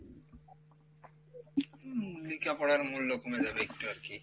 হম লিখাপড়ার মূল্য কমে যাবে একটু আরকি,